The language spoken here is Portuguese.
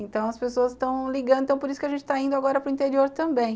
Então as pessoas estão ligando, então por isso que a gente está indo agora para o interior também.